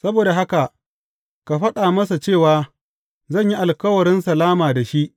Saboda haka ka faɗa masa cewa zan yi alkawarin salama da shi.